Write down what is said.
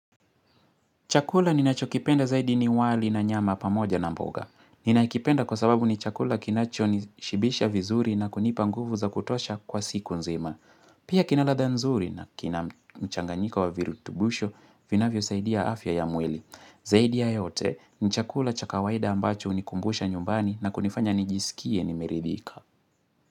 Chakula ninachokipenda zaidi ni wali na nyama pamoja na mboga. Ninakipenda kwa sababu ni chakula kinachonishibisha vizuri na kunipa nguvu za kutosha kwa siku nzima. Pia kina ladha nzuri na kina mchanganyika wa virutubusho vinavyosaidia afya ya mwili. Zaidi ya yote ni chakula cha kawaida ambacho hunikumbusha nyumbani na kunifanya nijisikie nimeridhika.